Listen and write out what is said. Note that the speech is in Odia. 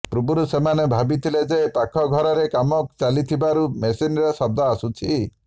ପୂର୍ବରୁ ସେମାନେ ଭାବିଥିଲେ ଯେ ପାଖ ଘରରେ କାମ ଚାଲିଥିବାରୁ ମେସିନ୍ର ଶବ୍ଦ ଆସୁଛି